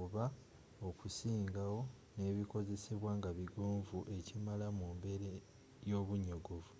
oba okusingawo n'ebikozesebwa nga bigonvu ekimala mu mbeera y’obunyogovu